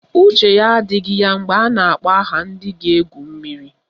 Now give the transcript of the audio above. Uche ya adịghị ya mgbe a na-akpọ aha ndị ga-egwu mmiri